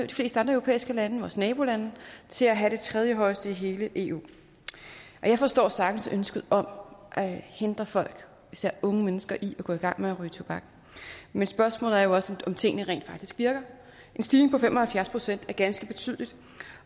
europæiske lande vores nabolande til at have det tredjehøjeste i hele eu jeg forstår sagtens ønsket om at hindre folk især unge mennesker i at gå i gang med at ryge tobak men spørgsmålet er jo også om tingene rent faktisk virker en stigning på fem og halvfjerds procent er ganske betydelig